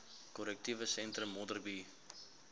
korrektiewe sentrum modderbee